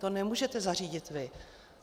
To nemůžete zařídit vy.